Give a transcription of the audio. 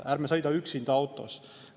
Ärme sõida üksinda autos!